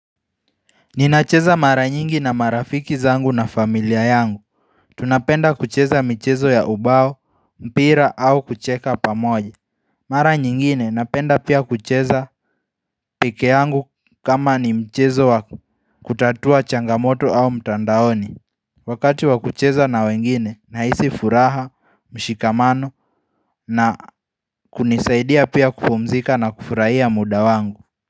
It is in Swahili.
Ninacheza mara nyingi na marafiki zangu na familia yangu Tunapenda kucheza michezo ya ubao, mpira au kucheka pamoja Mara nyingine napenda pia kucheza pekee yangu kama ni mchezo wa kutatua changamoto au mtandaoni Wakati wa kucheza na wengine nahisi furaha, mshikamano na kunisaidia pia kupumzika na kufurahia muda wangu.